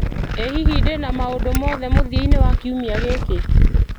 ĩ hihi ndĩna maũndũ o mothe mũthia-inĩ wa kiumia gĩkĩ